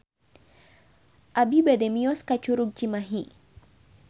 Abi bade mios ka Curug Cimahi